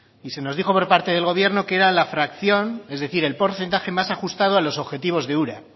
y se nos dijo por parte del gobierno que era la fracción es decir el porcentaje más ajustado a los objetivos de ura